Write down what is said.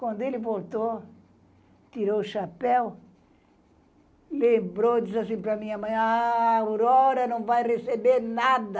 Quando ele voltou, tirou o chapéu, lembrou e disse assim para a minha mãe, a... Aurora não vai receber nada.